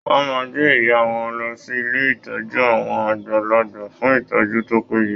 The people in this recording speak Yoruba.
Wọn máa gbé ìyá wọn lọ sí ilé ìtọ́jú àwọn àgbàlagbà fún ìtọ́jú tó péye.